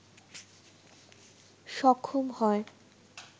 সক্ষম হয়